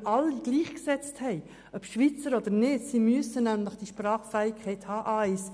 Wenn wir alle gleichgesetzt haben, ob Schweizer oder nicht, können wir bezüglich des Sprachniveaus A1